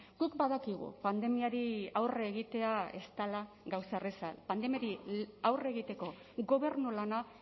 guk badakigu pandemiari aurre egitea ez dela gauza erraza pandemiari aurre egiteko gobernu lana